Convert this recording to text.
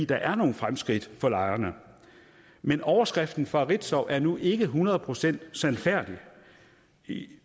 der er nogle fremskridt for lejerne men overskriften fra ritzau er nu ikke hundrede procent sandfærdig